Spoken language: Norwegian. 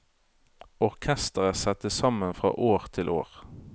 Orkestret settes sammen fra år til år.